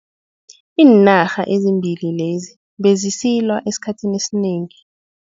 Iinarha ezimbili lezi bezisilwa esikhathini esinengi.